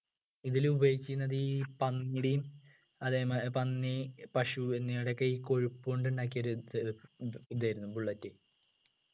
ഇതിൽ ഉപയോഗിച്ചിരുന്നത് ഈ പന്നിയുടെയും അതേമാതിരി പന്നി പശു എന്നിവയുടെഒക്കെ ഈ കൊഴുപ്പുകൊണ്ട് ഉണ്ടാക്കിയ ഒരു ഇതാ ഇത് ഇതായിരുന്നു bullet